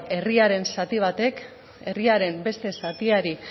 herriaren zati batek herriaren beste zatiari